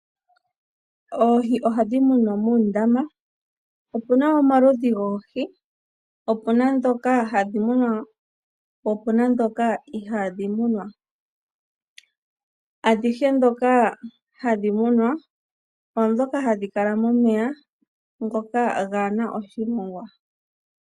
Oohi ohadhi munwa moondama, opuna omaludhi goohi, opuna ndhoka hadhi munwa, po opuna ndhoka ihaadhi munwa. Adhihe ndhoka hadhi munwa oondhoka hadhi kala momeya ngoka gaana oshimongwa.